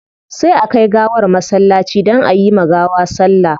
Sai a kai gawar masallaci don ayi ma gawa sallah